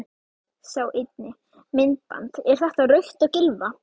Sjá einnig: Myndband: Er þetta rautt á Gylfa?